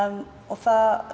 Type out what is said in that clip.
það